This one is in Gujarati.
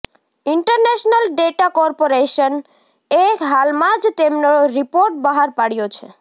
ઇન્ટરનેશનલ ડેટા કોર્પોરેશન એ હાલમાં જ તેમનો રિપોર્ટ બહાર પાડ્યો છે